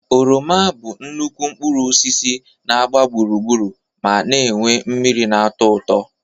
Oroma bụ nnukwu mkpụrụ osis na-agba gburugburu ma na-enwe mmiri na-atọ ụtọ.